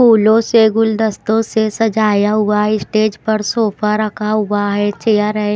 फूलों से गुलदस्तों से सजाया हुआ स्टेज पर सोफा रखा हुआ है चेयर है।